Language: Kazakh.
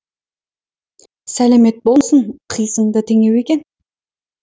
сәлемет болсын қисынды теңеу екен